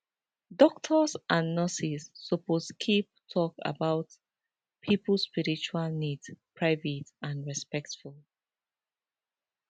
doctors and nurses suppose keep talk about pipo spiritual needs private and respectful